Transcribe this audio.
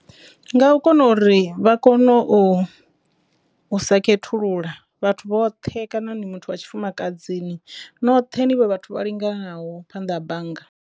Nga u kona uri vha kone u sa khethulula vhathu vhoṱhe kana ni muthu ya tshifumakadzini noṱhe nivhe vhathu vha linganaho phanḓa ha bannga.